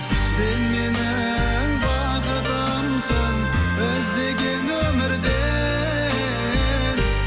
сен менің бақытымсың іздеген өмірде